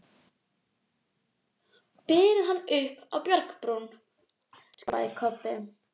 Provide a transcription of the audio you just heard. Berið hann upp á bjargbrún, skipaði Kobbi.